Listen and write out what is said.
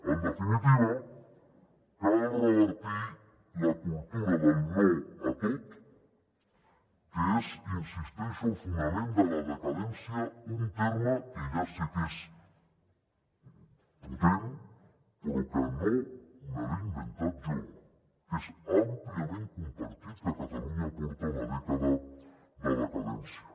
en definitiva cal revertir la cultura del no a tot que és hi insisteixo el fonament de la decadència un terme que ja sé que és potent però que no me l’he inventat jo perquè és àmpliament compartit que catalunya porta una dècada de decadència